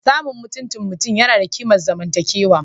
Samun mutuncin mutum yana da kimar zamantakewa